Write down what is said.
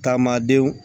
Taama denw